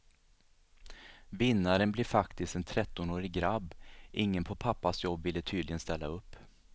Vinnaren blir faktiskt en trettonårig grabb, ingen på pappas jobb ville tydligen ställa upp.